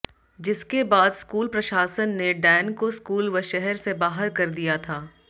जिसके बाद स्कूल प्रशासन ने डैन को स्कूल व शहर से बाहर कर दिया था